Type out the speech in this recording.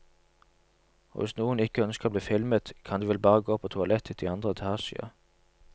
Og hvis noen ikke ønsker å bli filmet, kan de vel bare gå på toalettet i andre etasje.